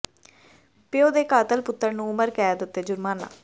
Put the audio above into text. ਪਿਉ ਦੇ ਕਾਤਲ ਪੁੱਤਰ ਨੂੰ ਉਮਰ ਕੈਦ ਅਤੇ ਜੁਰਮਾਨਾ